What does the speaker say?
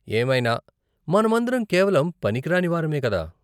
ఏమైనా, మనమందరం కేవలం పనికిరాని వారమే కదా?